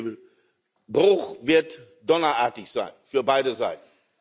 Der Bruch wird donnerartig sein für beide Seiten.